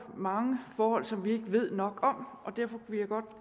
mange forhold som vi ikke ved nok om og derfor vil jeg godt